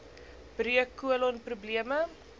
breuk kolon probleme